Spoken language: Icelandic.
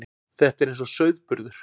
Þetta er eins og sauðburður.